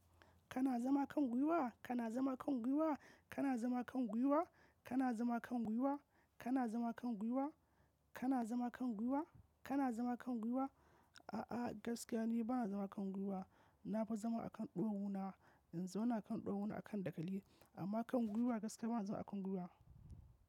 Kana zama kan gwiwa? Kana zama kan gwiwa? Kana zama kan gwiwa? Kana zama kan gwiwa? Kana zama kan gwiwa? Kana zama kan gwiwa? Kana zama kan gwiwa? A'a, gaskiya ni bana zama kan gwiwa. Na fi zama a kan ɗawawuna. In zau na kan ɗawawuna a kan dakali, amma kan gwiwa gaskiya bana zama a kan gwiwa.